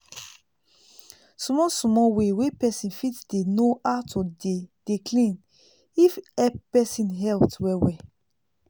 small small way wey pesin fit dey know how to dey dey clean if help pesin health well well